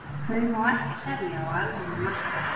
Þau má ekki selja á almennum markaði.